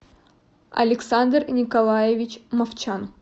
александр николаевич мовчан